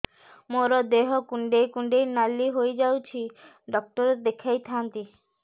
ମୋର ଦେହ କୁଣ୍ଡେଇ କୁଣ୍ଡେଇ ନାଲି ହୋଇଯାଉଛି ଡକ୍ଟର ଦେଖାଇ ଥାଆନ୍ତି